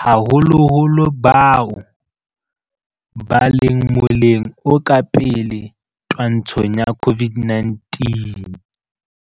haholoholo bao ba leng moleng o ka pele twantshong ya COVID-19.